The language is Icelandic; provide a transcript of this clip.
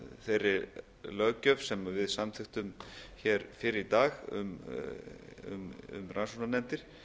þeirri löggjöf sem við samþykktum hér fyrr í dag um rannsóknarnefndir